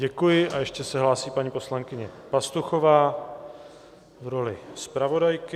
Děkuji a ještě se hlásí paní poslankyně Pastuchová v roli zpravodajky.